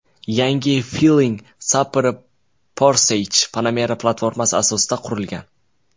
Yangi Flying Spur Porsche Panamera platformasi asosida qurilgan.